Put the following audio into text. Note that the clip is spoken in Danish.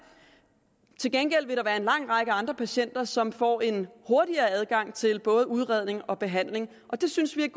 til gengæld vil der være en lang række andre patienter som får en hurtigere adgang til både udredning og behandling og det synes vi er